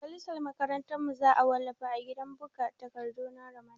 Mujallar makarantar mu za a wallafa a gidan buga takardu na Ramadan